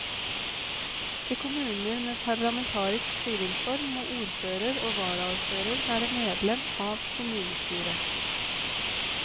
I kommuner med parlamentarisk styringsform må ordfører og varaordfører være medlem av kommunestyret.